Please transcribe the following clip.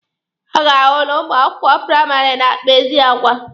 A ga-ahụ na ụmụ akwụkwọ praịmarị na-akpa ezi agwa.